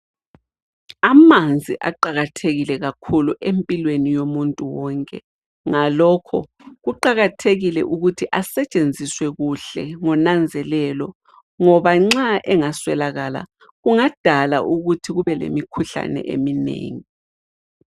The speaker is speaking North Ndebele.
Amanzi aqakathekile kakhulu empilweni yomuntu wonke ngalokho kuqakathekile ukuthi asetshenziswe kuhle ngonanzelelo ngoba nxa engaswelakala kungadala ukuthi kube lemikhuhlane eminengi.